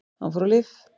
Hann fór á lyf.